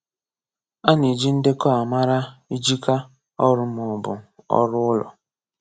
À nà-ejì ndekọ̀ à makà ị̀jìkà ọrụ̀ mà ọ̀ bụ̀ ọrụ̀ ụlọ̀.